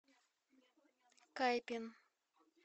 кайпин